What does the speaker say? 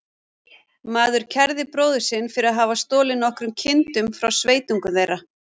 Maður kærði bróður sinn fyrir að hafa stolið nokkrum kindum frá sveitungum þeirra.